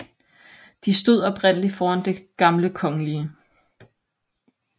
De stod oprindeligt foran Det gamle Kgl